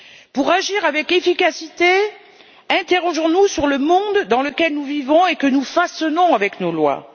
Pour agir avec efficacité, interrogeons nous sur le monde dans lequel nous vivons et que nous façonnons avec nos lois.